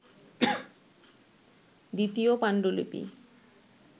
দ্বিতীয় পাণ্ডুলিপি